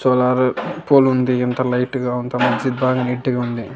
Solar pool ఉంది ఎంత light గా ఉందో మంచిది బాగా నీట్ గా ఉంది.